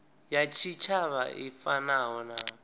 ya tshitshavha i fanaho na